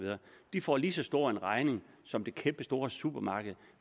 får en lige så stor regning som det kæmpestore supermarked